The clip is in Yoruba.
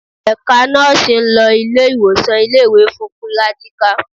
Ẹ̀ka nọ́ọ̀sì ń lọ ilé-ìwòsàn ilé-ìwé fún pírátíkà